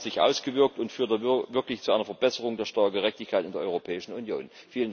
Wie hat er sich ausgewirkt, und führt er wirklich zu einer Verbesserung der Steuergerechtigkeit in der Europäischen Union?